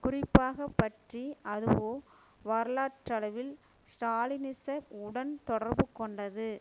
குறிப்பாக பற்றி அதுவோ வரலாற்றளவில் ஸ்ராலினிச உடன் தொடர்பு கொண்டது